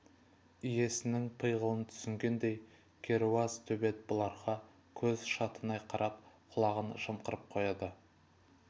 иесінің пиғылын түсінгендей керауыз төбет бұларға көз шатынай қарап құлағын жымқырып қояды